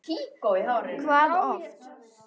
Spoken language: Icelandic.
Hvað oft?